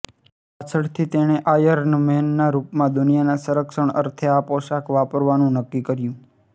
પાછળથી તેણે આયર્ન મૅનના રૂપમાં દુનિયાના સંરક્ષણ અર્થે આ પોશાક વાપરવાનું નક્કી કર્યું